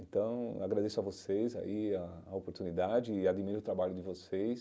Então, agradeço a vocês aí a a oportunidade e admiro o trabalho de vocês.